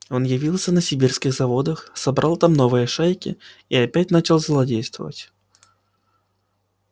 он явился на сибирских заводах собрал там новые шайки и опять начал злодействовать